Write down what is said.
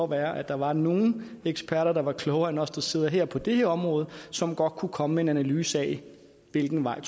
være at der var nogle eksperter der var klogere end os der sidder her på det her område og som godt kunne komme med en analyse af hvilken vej